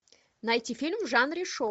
найти фильм в жанре шоу